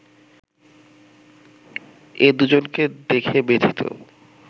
এ দুজনকে দেখে ব্যথিত